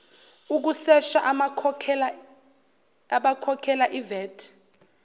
ukusesha abakhokhela ivat